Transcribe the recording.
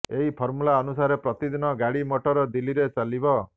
ଏହି ଫର୍ମୁଲା ଅନୁସାରେ ପ୍ରତିଦିନ ଗାଡ଼ି ମୋଟର ଦିଲ୍ଲୀରେ ଚାଲିବ